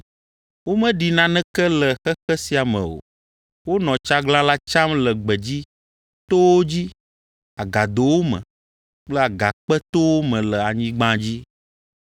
womeɖi naneke le xexe sia me o. Wonɔ tsaglãla tsam le gbedzi, towo dzi, agadowo me kple agakpetowo me le anyigba dzi.